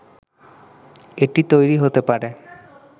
এটি তৈরি হতে পারে